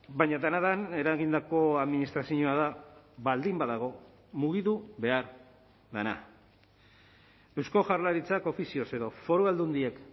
baina dena den eragindako administrazioa da baldin badago mugitu behar dena eusko jaurlaritzak ofizioz edo foru aldundiek